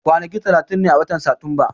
Kwanaki talatin ne a watan Satumba.